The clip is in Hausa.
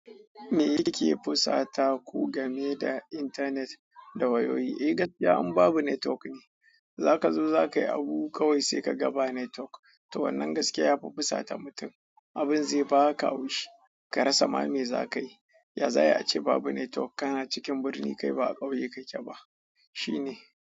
Me yake fusata ku game da internet da wayoyi? Eh gaskiya in babu netwok ne zakazo zakai abu kawai sai kaga babu netwok to wannan gaskiya ya fi fusata mutum, abin zebaka hau shi ka rasa ma me za ka yi. Ya zai ace babu network, kana cikin birni kai ba a ƙauye kake ba. Shi ne.